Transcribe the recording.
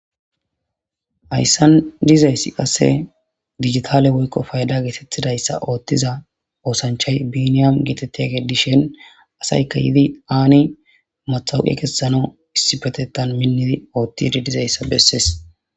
Hayssan dizayssi qasse digitale woykko fayda geetettidayssa ooththiza oosanchay biiniyam geetettiya gedishen asayka yidi aani matawuqi kessano issi petetan minnidi oothtidi dizayssa besses.